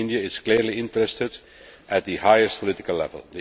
India is clearly interested at the highest political level.